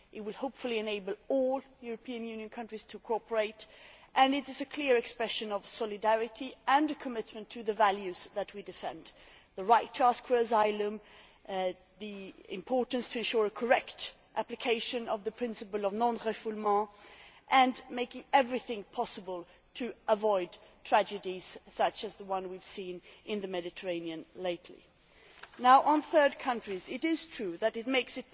It will hopefully enable all European Union countries to cooperate and it is a clear expression of solidarity and commitment to the values that we defend the right to ask for asylum, the importance of ensuring correct application of the principle of non refoulement and making everything possible to avoid tragedies such as the ones we have seen lately in the Mediterranean. On third countries, it is true that it makes